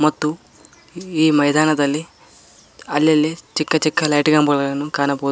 ಮತ್ತು ಈ ಮೈದಾನದಲ್ಲಿ ಅಲ್ಲಲ್ಲಿ ಚಿಕ್ಕ ಚಿಕ್ಕ ಲೈಟಿನ ಕಂಬಗಳನ್ನು ಕಾಣಬೋದು.